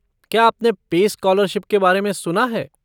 क्या आपने pace scholarship के बारे में सुना है?